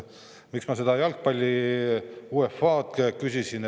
Miks ma jalgpalli UEFA kohta küsisin?